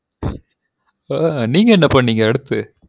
ஆ நீங்க என்ன பன்னிங்க அடுத்து